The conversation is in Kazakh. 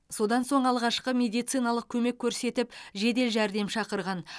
содан соң алғашқы медициналық көмек көрсетіп жедел жәрдем шақырған